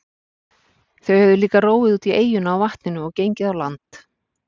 Þau höfðu líka róið út í eyjuna á vatninu og gengið á land.